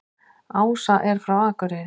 Ása er frá Akureyri.